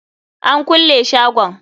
An kulle shagon.